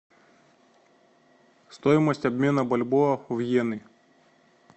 стоимость обмена бальбоа в йены